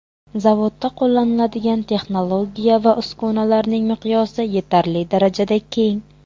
Zavodda qo‘llanadigan texnologiya va uskunalarning miqyosi yetarli darajada keng.